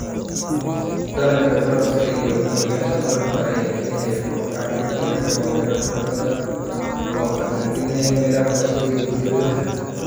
Dhallaanka barafka iyo go'yaasha barafka ayaa keenaya kor u kac degdeg ah oo heerarka badda, oo khatar gelinaya meelaha hoose iyo jasiiradaha.